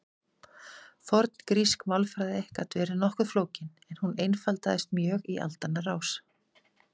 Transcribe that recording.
forngrísk málfræði gat verið nokkuð flókin en hún einfaldaðist mjög í aldanna rás